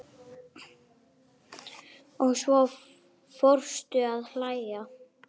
Og svo fórstu að hlæja.